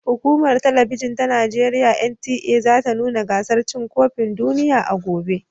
Hukumar Talabijin ta Najeriya (NTA) za ta nuna gasar cin kofin duniya a gobe.